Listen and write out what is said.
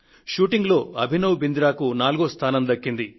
షూటింగ్లో అభినవ్ బింద్రాకు నాలుగో స్థానం దక్కింది